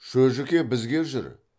шөжіке бізге жүр